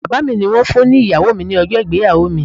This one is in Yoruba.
Bàbá mi ni wón fún ni Ìyàwó mi ní ọjọ́ ìgbéyàwó mi